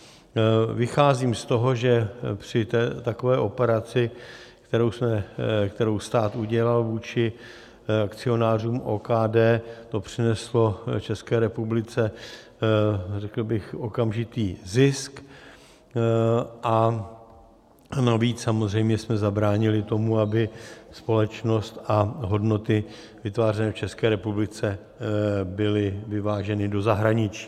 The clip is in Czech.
Vycházím z toho, že při takové operaci, kterou stát udělal vůči akcionářům OKD, to přineslo České republice řekl bych okamžitý zisk, a navíc samozřejmě jsme zabránili tomu, aby společnost a hodnoty vytvářené v České republice byly vyváděny do zahraničí.